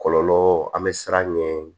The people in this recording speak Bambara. Kɔlɔlɔ an bɛ siran ɲɛ